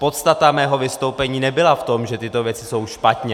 Podstata mého vystoupení nebyla v tom, že tyto věci jsou špatně.